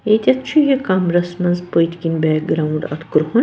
ییٚتٮ۪تھ چُھ یہِ کمرس منٛزپٔتۍکِنۍ .اَتھ کرٛہُن